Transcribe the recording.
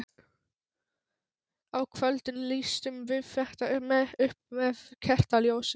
Á kvöldin lýstum við þetta upp með kertaljósum.